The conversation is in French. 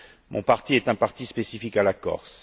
Mon parti est un parti spécifique à la Corse.